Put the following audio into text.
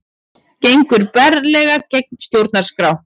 Gengur berlega gegn stjórnarskrá